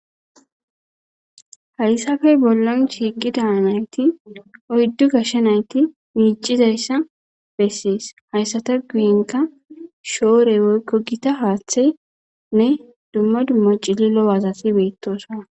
hayssafe bollan shiiqi daa nayti oyddu gashshanayti miicizayssa bessees hayssata guyinka shoore woykko gita haaththenne dumma dummo cililo wazati beettosona